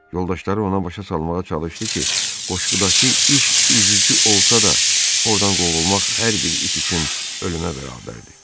Yoldaşları ona başa salmağa çalışdı ki, qoşqudakı iş üzücü olsa da ordan qovulmaq hər bir it üçün ölümə bərabərdir.